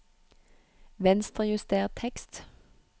Venstrejuster tekst